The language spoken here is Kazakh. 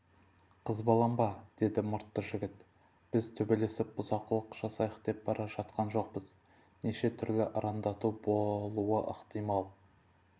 қызбаланба деді мұртты жігіт біз төбелесіп бұзақылық жасайық деп бара жатқан жоқпыз нешетүрлі арандату болуы ықтимал